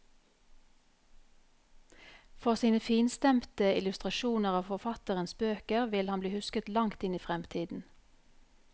For sine finstemte illustrasjoner av forfatteres bøker vil han bli husket langt inn i fremtiden.